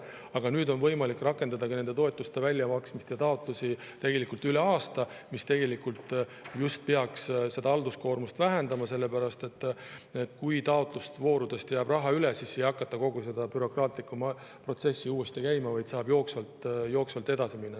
Aga nüüd on võimalik rakendada nende toetuste väljamaksmist ja taotlemist üle aasta, mis peaks halduskoormust just vähendama, sest kui taotlusvoorudest jääb raha üle, siis ei hakata kogu seda bürokraatlikku protsessi uuesti läbi käima, vaid saab jooksvalt edasi minna.